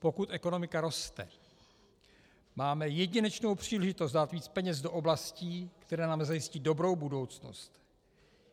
Pokud ekonomika roste, máme jedinečnou příležitost dát víc peněz do oblastí, které nám zajistí dobrou budoucnost.